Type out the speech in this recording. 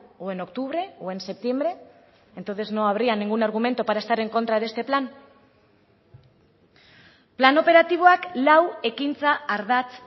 o en octubre o en septiembre entonces no habría ningún argumento para estar en contra de este plan plan operatiboak lau ekintza ardatz